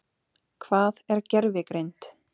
Hvað er gervigreind?